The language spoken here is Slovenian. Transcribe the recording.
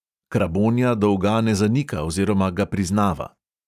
Krabonja dolga ne zanika oziroma ga priznava.